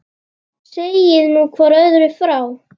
Segið nú hvort öðru frá.